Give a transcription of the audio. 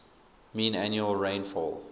mean annual rainfall